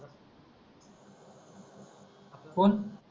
कोण आपला